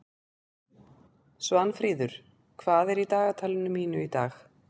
Svanfríður, hvað er í dagatalinu mínu í dag?